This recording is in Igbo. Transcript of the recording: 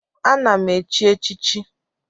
Ee, na m echi echichi